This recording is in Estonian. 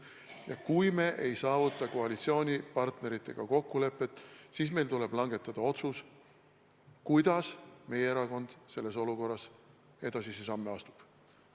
Ja kui me ei saavuta koalitsioonipartneritega kokkulepet, siis meil tuleb langetada otsus, kuidas meie erakond selles olukorras edasisi samme astub.